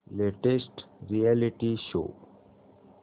latest reality show